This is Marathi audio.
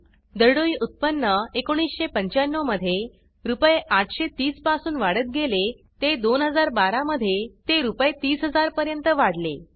दरडोई उत्पन्न 1995 मध्ये रुपये 830 पासून वाढत गेले ते 2012 मध्ये ते रुपये 30000 पर्यंत वाढले